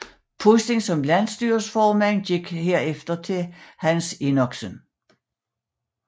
Posten som landsstyreformand overgik herefter til Hans Enoksen